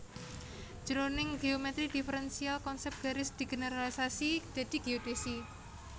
Jroning géomètri diferensial konsèp garis digeneralisasi dadi géodhèsi